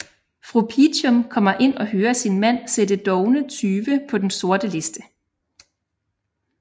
Fru Peachum kommer ind og hører sin mand sætte dovne tyve på den sorte liste